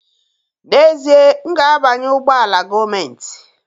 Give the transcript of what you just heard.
N'ezie, m ga-abanye ụgbọ ala gọọmentị